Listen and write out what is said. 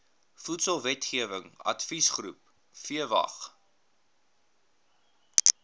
voedselwetgewing adviesgroep vwag